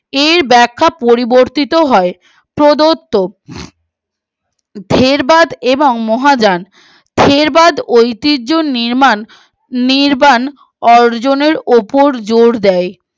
এর বেক্ষা পরিবর্তিত হয় প্রদত্ত জেরবাদ এবং মহাযান জেরবাদ ঐতির্য্য নির্মাণ নির্মাণ অর্জনের উপর জোর দেয়